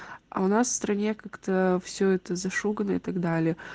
а у нас в стране как-то все это за шугано и так далее